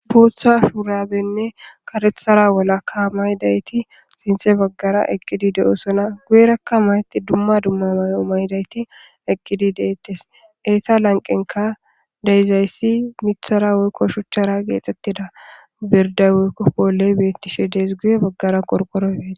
Botha shurabenne karethara walaka maydayti sinxe baggara eqqidi de7osona guye rakka mayti dumma dumma may7o maydayti eqqidi deettes eeta lanqenka deyizayssi mithara woykko shuchchara geexxettida birday woykko poley bettishe dees guye baggara korqoro beti